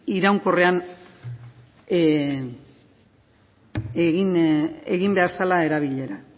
iraunkorrean egin behar zela erabilera